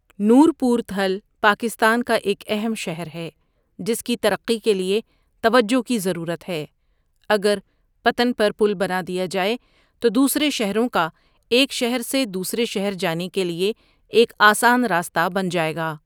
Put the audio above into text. نورپورتھل پاکستان کا ایک اہم شہر ہے جس کی ترقی کے لیے توجہ کی ضرورت ہے اگر پتن پر پل بنا دیا جایے تو دوسرے شهروں کا ایک شہر سے دوسرے شہر جانے کے لیے ایک آسان راسته بن جاے گا ۔